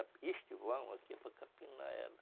Este vão aqui é para capinar ela.